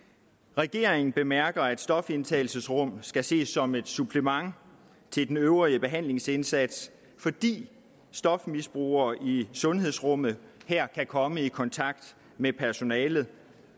regeringen bemærker at stofindtagelsesrum skal ses som et supplement til den øvrige behandlingsindsats fordi stofmisbrugere i sundhedsrummet her kan komme i kontakt med personalet